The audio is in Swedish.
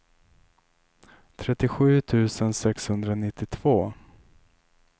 trettiosju tusen sexhundranittiotvå